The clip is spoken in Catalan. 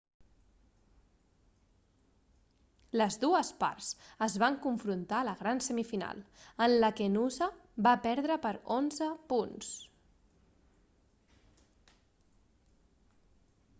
les dues parts es van confrontar a la gran semifinal en la que noosa va perdre per 11 punts